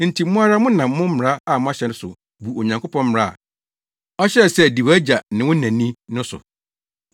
Enti mo ara monam mo mmara a moahyɛ so bu Onyankopɔn mmara a ɔhyɛɛ sɛ di wʼagya ne wo na ni no so.